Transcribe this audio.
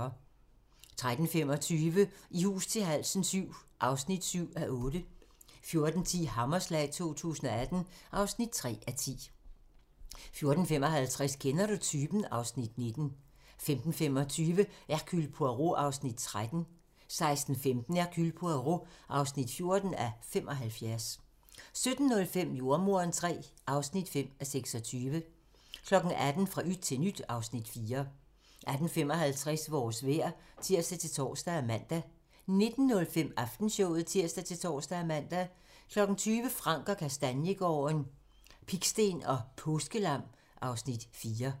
13:25: I hus til halsen VII (7:8) 14:10: Hammerslag 2018 (3:10) 14:55: Kender du typen? (Afs. 19) 15:25: Hercule Poirot (13:75) 16:15: Hercule Poirot (14:75) 17:05: Jordemoderen III (5:26) 18:00: Fra yt til nyt (Afs. 4) 18:55: Vores vejr (tir-tor og man) 19:05: Aftenshowet (tir-tor og man) 20:00: Frank & Kastaniegaarden - Pigsten og påskelam (Afs. 4)